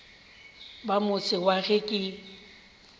ba motse wa ge ke